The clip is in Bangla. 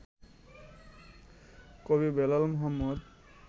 কবি বেলাল মোহাম্মদ